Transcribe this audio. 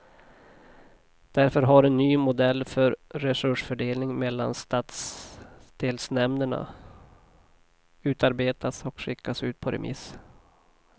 Därför har en ny modell för resursfördelningen mellan stadsdelsnämnderna utarbetats och skickats ut på remiss.